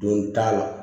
Don t'a la